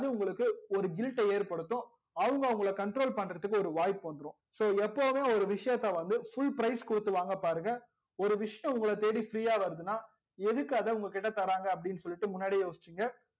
அது உங்களுக்கு ஒரு guilt ட ஏற்படுத்தும் அவங்க உங்கள control பண்றதுக்கு ஒரு வாய்ப்பு வந்துடும் so எப்போவுமே ஒரு விஷயத்த வந்து full price கொடுத்து வாங்க பாருங்க ஒரு விஷயம் உங்கள தேடி free யா வர்துனா எதுக்கு உங்க கிட்ட அதா தராங்க அப்டின்னு சொல்லிட்டு முன்னாடியே யோசிச்சிங்க